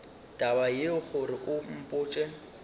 taba yeo gore o mpotše